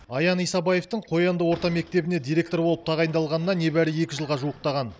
аян исабаевтың қоянды орта мектебіне директор болып тағайындалғанына небәрі екі жылға жуықтаған